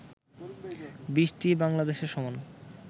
২০টি বাংলাদেশের সমান